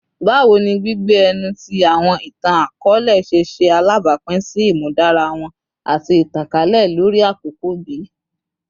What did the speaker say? Bawo ni gbigbe ẹnu ti awọn itan-akọọlẹ ṣe ṣe alabapin si imudara wọn ati itankalẹ lori akoko bi?